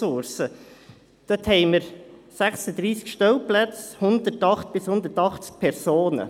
Dort hat man 36 Stellplätze, 108 bis 180 Personen.